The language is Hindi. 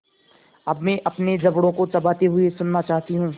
अब मैं अपने जबड़ों को चबाते हुए सुनना चाहती हूँ